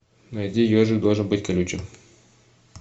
найди ежик должен быть колючим